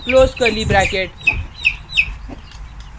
close curly bracket